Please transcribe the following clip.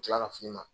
Tila ka fini ma